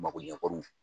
Makoɲɛkɔnɔ